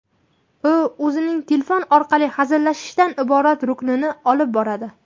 U o‘zining telefon orqali hazillashishdan iborat ruknini olib boradi.